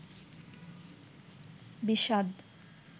বিষাদ